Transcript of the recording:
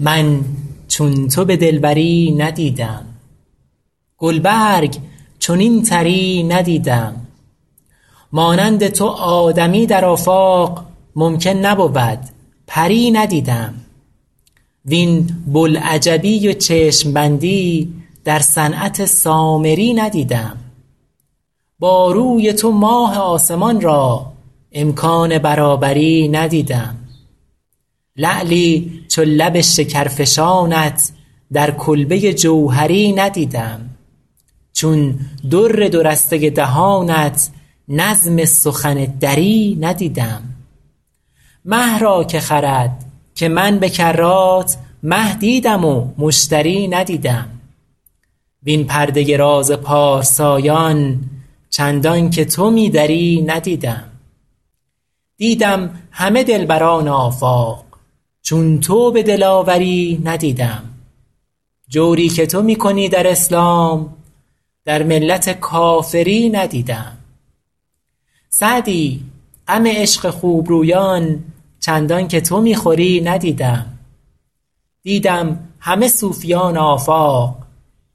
من چون تو به دلبری ندیدم گل برگ چنین طری ندیدم مانند تو آدمی در آفاق ممکن نبود پری ندیدم وین بوالعجبی و چشم بندی در صنعت سامری ندیدم با روی تو ماه آسمان را امکان برابری ندیدم لعلی چو لب شکرفشانت در کلبه جوهری ندیدم چون در دو رسته دهانت نظم سخن دری ندیدم مه را که خرد که من به کرات مه دیدم و مشتری ندیدم وین پرده راز پارسایان چندان که تو می دری ندیدم دیدم همه دلبران آفاق چون تو به دلاوری ندیدم جوری که تو می کنی در اسلام در ملت کافری ندیدم سعدی غم عشق خوب رویان چندان که تو می خوری ندیدم دیدم همه صوفیان آفاق